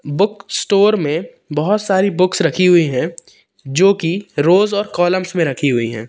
Book store में बहोत सारी बुक्स रखी हुई है जो कि रोज् और कॉलम्स में रखी हुई है।